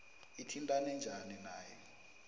ithintane njani nawe